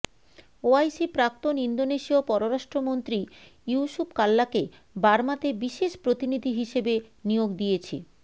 OIC প্রাক্তন ইন্দোনেশীয় পররাষ্ট্রমন্ত্রী ইউসুফ কাল্লাকে বার্মাতে বিশেষ প্রতিনিধি হিসেবে নিয়োগ দিয়েছে